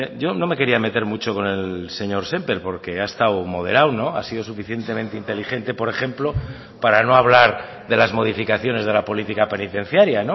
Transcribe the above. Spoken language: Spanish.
yo no me quería meter mucho con el señor sémper porque ha estado moderado ha sido suficientemente inteligente por ejemplo para no hablar de las modificaciones de la política penitenciaria